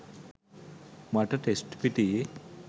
මට ටෙස්ට් පිටියේ